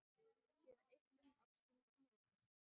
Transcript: Síðan ypptir hún öxlum og mildast.